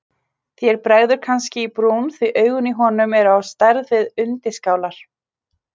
Þér bregður kannski í brún því augun í honum eru á stærð við undirskálar.